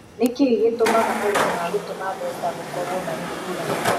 Nĩ kĩĩ gĩtũmaga marĩhi ma gũtũma mbeca gũkorũo marĩ ngũrani.